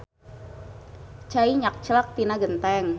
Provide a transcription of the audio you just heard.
Cai nyakclak tina genteng